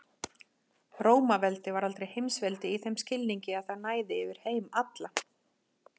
Rómaveldi var aldrei heimsveldi í þeim skilningi að það næði yfir heim allan.